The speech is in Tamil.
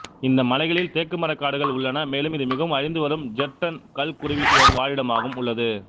இந்த மலைகளில் தேக்குமரக் காடுகள் உள்ளன மேலும் இது மிகவும் அழிந்து வரும் ஜெர்டன் கல்குருவியின்வாழிடமாகவும் உள்ளது